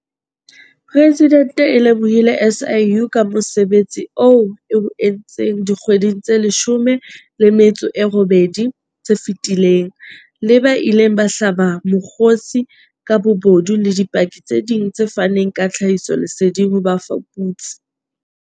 Presidente o lebohile SIU ka mosebetsi oo e o entseng dikgweding tse 18 tse fetileng, le ba ileng ba hlaba mokgosi ka bobodu le dipaki tse ding tse faneng ka tlhahisoleseding ho bafuputsi.